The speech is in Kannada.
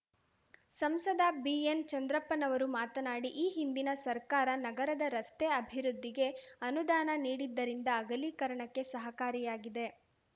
ಸಂಸದ ಬಿಎನ್‌ ಚಂದ್ರಪ್ಪನವರು ಮಾತನಾಡಿ ಈ ಹಿಂದಿನ ಸರ್ಕಾರ ನಗರದ ರಸ್ತೆಅಭಿವೃದ್ದಿಗೆ ಅನುದಾನ ನೀಡಿದ್ದರಿಂದ ಅಗಲೀಕರಣಕ್ಕೆ ಸಹಕಾರಿಯಾಗಿದೆ